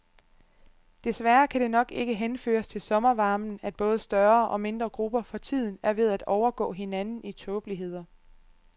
Desværre kan det nok ikke henføres til sommervarmen, at både større og mindre grupper for tiden er ved at overgå hinanden i tåbeligheder.